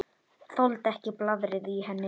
Þoldi ekki blaðrið í henni.